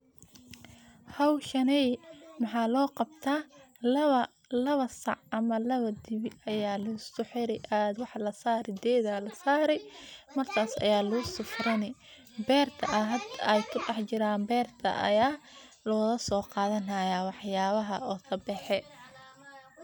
Hawshaney maxa loo qabtaa lawa sac ama lawa dibi ayaa lisku xiri geedaa la saari ,markaas ayaa lagusii furani beerta ay hadda ku dhax jiraan ,beerta ayaa looga soo qadanayaa wax yabaha oo ka baxe.